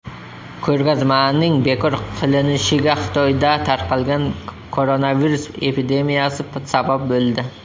Ko‘rgazmaning bekor qilinishiga Xitoyda tarqalgan koronavirus epidemiyasi sabab bo‘ldi.